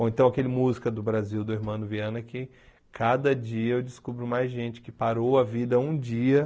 Ou então, aquele música do Brasil, do Hermano Viana, que cada dia eu descubro mais gente que parou a vida um dia.